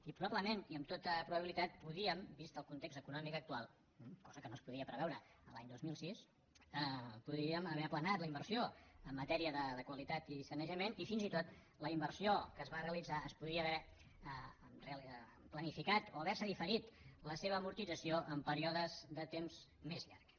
i probablement i amb tota probabilitat podíem vist el context econòmic actual cosa que no es podia preveure l’any dos mil sis haver aplanat la inversió en matèria de qualitat i sanejament i fins i tot la inversió que es va realitzar es podia haver planificat o haver se diferit la seva amortització en períodes de temps més llargs